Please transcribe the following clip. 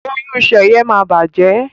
Oyún Seye má bàjé